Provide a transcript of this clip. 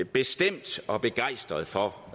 bestemt begejstret for